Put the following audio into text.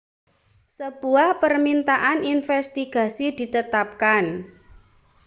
sebuah permintaan investigasi ditetapkan